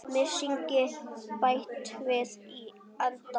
Mysingi bætt við í endann.